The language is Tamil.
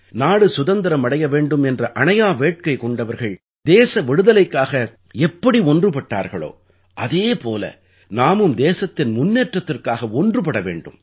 நாடு சுதந்திரம் அடைய வேண்டும் என்ற அணையா வேட்கை கொண்டவர்கள் தேச விடுதலைக்காக எப்படி ஒன்றுபட்டார்களோ அதே போல நாமும் தேசத்தின் முன்னேற்றத்திற்காக ஒன்றுபட வேண்டும்